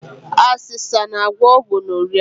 Asesa na-agwọ gonoria.